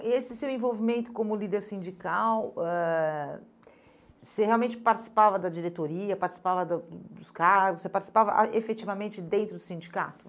E esse seu envolvimento como líder sindical, ãh, você realmente participava da diretoria, participava da dos cargos, você participava ah efetivamente dentro do sindicato?